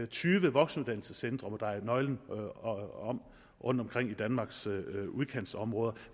tyve voksenuddannelsescentre må dreje nøglen om rundtomkring i danmarks udkantsområder